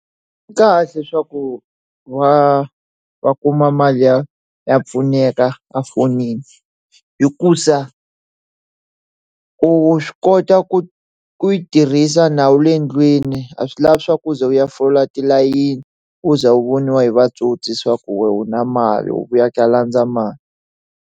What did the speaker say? Kahle swaku va va kuma mali ya ya pfuneka a fonini hikusa u xikota ku ku yi tirhisa nawu le ndlwini a swi lavi swaku u ze u ya fola tilayini u za wu voniwa hi va tsotsi ku wehe o na mali wu na mali wu vuya ka landza mali.